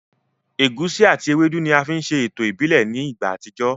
Ẹ̀gusi àti ewédú ni a fi ń ṣe ètò ìbílẹ̀ ní ìgbà àtijọ́